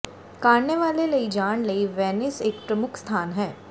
ਕਾਰਨੇਵਾਲੇ ਲਈ ਜਾਣ ਲਈ ਵੈਨਿਸ ਇੱਕ ਪ੍ਰਮੁੱਖ ਸਥਾਨ ਹੈ